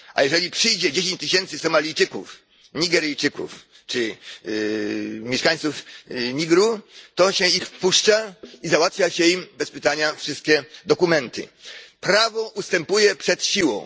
A jeżeli przyjdzie dziesięć tysięcy Somalijczyków, Nigeryjczyków czy mieszkańców Nigru, to się ich wpuszcza i załatwia się im bez pytania wszystkie dokumenty. Prawo ustępuje przed siłą.